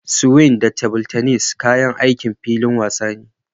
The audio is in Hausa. Swing da tebur tennis kayan aikin filin wasa ne